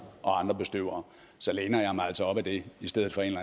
og andre bestøvere så læner jeg mig altså op ad det i stedet for en